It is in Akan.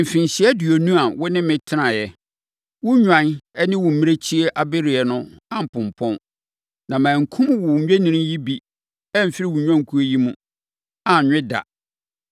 “Mfirinhyia aduonu a wo ne me tenaeɛ, wo nnwan ne wo mmirekyie abereɛ no ampompɔn, na mankum wo nnwennini yi bi amfiri wo nnwankuo yi mu, anwe da.